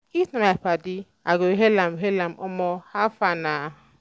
if na my padi i go hail am am "omo how far na?"